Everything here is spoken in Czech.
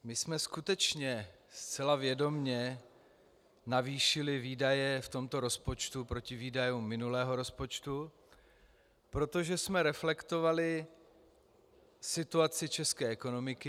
My jsme skutečně zcela vědomě navýšili výdaje v tomto rozpočtu proti výdajům minulého rozpočtu, protože jsme reflektovali situaci české ekonomiky.